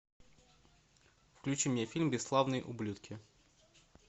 включи мне фильм бесславные ублюдки